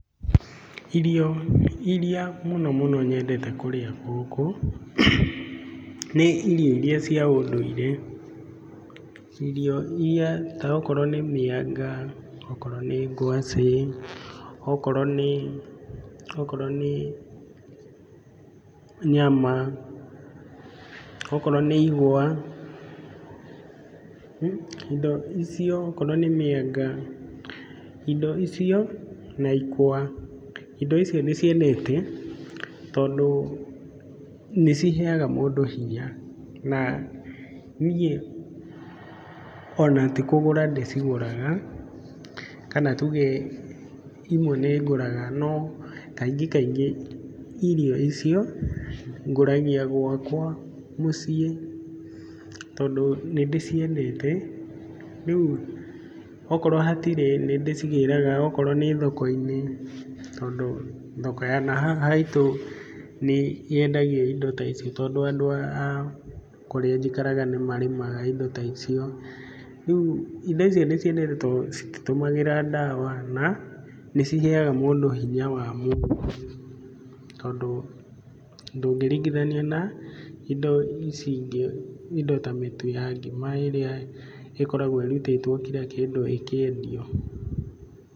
Irio iria mũno mũno nyendete kũrĩa gũkũ, nĩ irio iria cia ũndũire, irio iria ta okorwo nĩ mĩanga, okorwo nĩ ngwacĩ, okorwo nĩ nyama, okorwo nĩ igwa, indo icio okorwo nĩ mĩanga, indo icio na ikwa, indo icio ndĩciendete, tondũ nĩ ciheaga mũndũ hinya, na niĩ ona ti kũgũra ndĩcigũraga, kana tuge imwe nĩ ngũraga no kaingĩ kaingĩ irio icio ngũragia gwakwa mũciĩ, tondũ nĩ ndĩciendete, rĩu okorwo hatirĩ, nĩ ndĩcigĩraga okorwo nĩ thoko-inĩ, tondũ thoko ya na haha haitũ nĩ yendĩgio indo ta icio, tondũ andũ a kũrĩa njĩkaraga nĩ marĩmaga indo ta icio, rĩu indo icio ndĩciendete, tondũ cititũmagĩra ndawa na nĩciheaga mũndũ hinya wa mwĩrĩ, tondũ ndũngĩringithania na indo ici ingĩ, indo ta mĩtu ya ngima ĩrĩa ĩkoragwo ĩrutĩtwo kira kĩndũ ĩkĩendio.